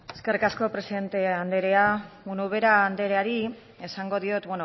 eskerrik asko presidente anderea ubera andereari esango diot